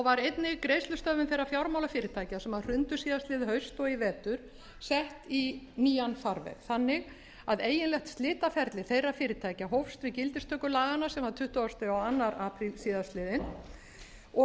var einnig greiðslustöðvun þeirra fjármálafyrirtækja sem hrundu síðastliðið haust og í vetur sett í nýjan farveg þannig að eiginlegt slitaferli þeirra fyrirtækja hófst við gildistöku bankanna sem var tuttugasta og annan apríl síðastliðinn og